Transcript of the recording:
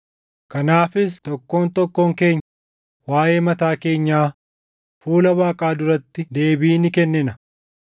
Kanaafis tokkoon tokkoon keenya waaʼee mataa keenyaa fuula Waaqaa duratti deebii ni kennina.